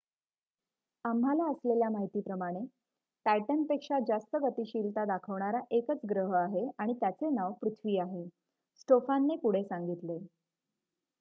आम्हाला असलेल्या माहितीप्रमाणे टायटनपेक्षा जास्त गतिशीलता दाखवणारा एकच ग्रह आहे आणि त्याचे नाव पृथ्वी आहे स्टोफानने पुढे सांगितले